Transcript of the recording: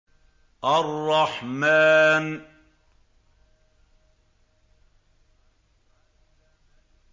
الرَّحْمَٰنُ